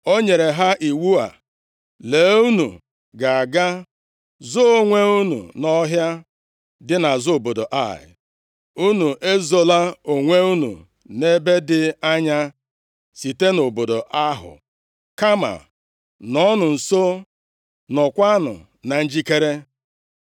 o nyere ha iwu a, “Lee! Unu ga-aga zoo onwe unu nʼọhịa dị nʼazụ obodo Ai. Unu ezola onwe unu nʼebe dị anya site nʼobodo ahụ, kama nọọnụ nso, nọọkwanụ na njikere.